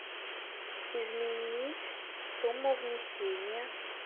изменить сумму внесения